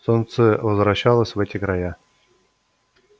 солнце возвращалось в эти края